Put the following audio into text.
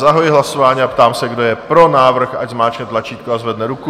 Zahajuji hlasování a ptám se, kdo je pro návrh, ať zmáčkne tlačítko a zvedne ruku.